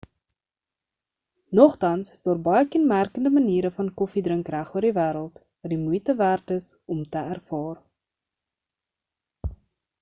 nogtans is daar baie kenmerkende maniere van koffie drink regoor die wêreld wat die moeite werd is om te ervaar